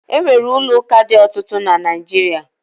E nwere ụlọ ụka dị ọtụtụ na Naịjirịa